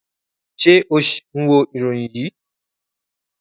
Ṣe o ṣ ń wo iroyin yii?